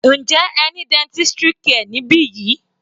Njẹ́ ẹ ní dentistry care níbi yìí?